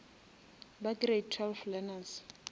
ba grade twelve learners